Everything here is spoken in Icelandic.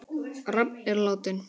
Rafn er látinn.